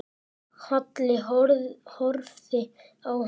Halli horfði á hann.